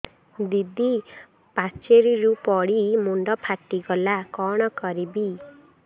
ଦିଦି ପାଚେରୀରୁ ପଡି ମୁଣ୍ଡ ଫାଟିଗଲା କଣ କରିବି